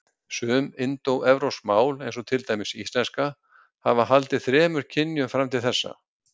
Sum indóevrópsk mál, eins og til dæmis íslenska, hafa haldið þremur kynjum fram til þessa.